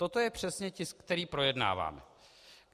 Toto je přesně tisk, který projednáváme.